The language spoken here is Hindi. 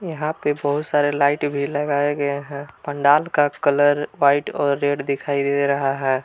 यहां पे बहुत सारे लाइट भी लगाया गया है पंडाल का कलर व्हाइट और रेड दिखाई दे रहा है।